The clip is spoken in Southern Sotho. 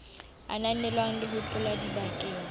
ananelwang le ho tlotlwa dibakeng